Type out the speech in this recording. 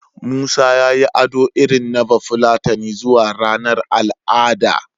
Musa ya yi ado irin na Bafulatani zuwa ranar al'ada.